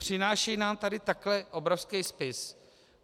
Přináší nám tady takhle obrovský spis.